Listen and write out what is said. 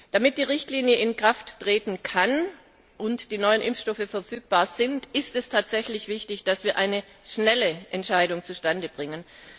Damit die Richtlinie in Kraft treten kann und die neuen Impfstoffe verfügbar sind, ist es tatsächlich wichtig, dass wir eine schnelle Entscheidung zustande bringen.